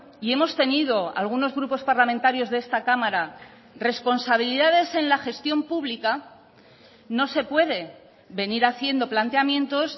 y hemos tenido algunos grupos parlamentarios de esta cámara responsabilidades en la gestión pública no se puede venir haciendo planteamientos